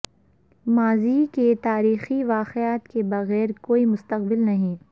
ماضی کے تاریخی واقعات کے بغیر کوئی مستقبل نہیں